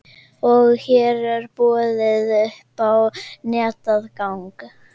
Og hér er boðið upp á netaðgang.